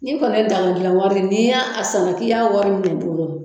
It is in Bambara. Ni kɔni dano dilan wari n'i y'a san k'i i y'a wari minɛ i bolo.